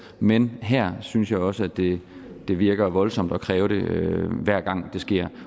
men her synes jeg også det det virker voldsomt at kræve det hver gang det sker